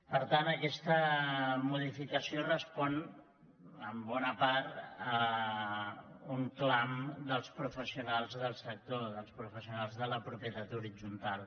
per tant aquesta modificació respon en bona part a un clam dels professionals del sector dels professionals de la propietat horitzontal